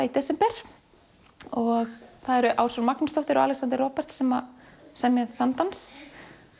í desember það eru Ásrún Magnúsdóttir og Alexander Roberts sem semja þann dans